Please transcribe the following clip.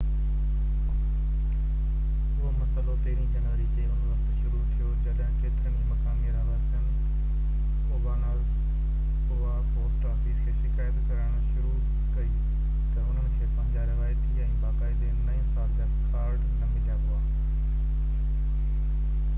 اهو مسئلو پهرين جنوري تي ان وقت شروع ٿيو جڏهن ڪيترن ئي مقامي رهواسين اوبانازاوا پوسٽ آفيس کي شڪايت ڪرڻ شروع ڪئي تہ انهن کي پنهنجا روايتي ۽ باقاعدي نئي سال جا ڪارڊ نہ مليا هئا